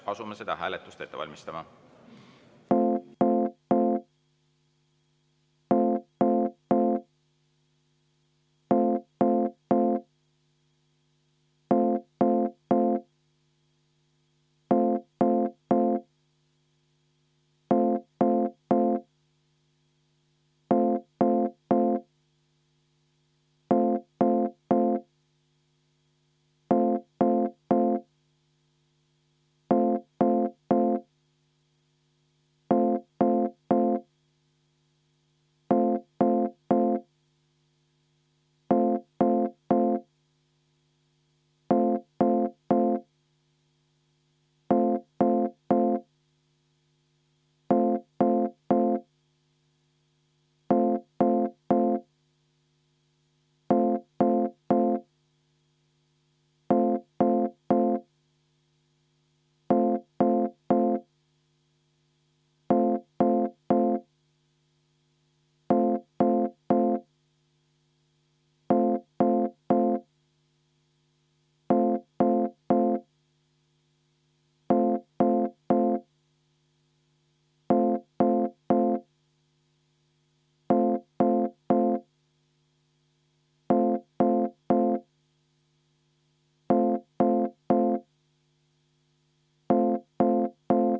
Asume seda hääletust ette valmistama.